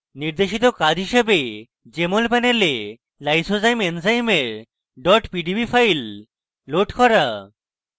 নির্দেশিত কাজ হিসাবে jmol panel lysozyme এনজাইমের dot পিডিবি file load করুন